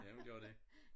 Ja hun gør det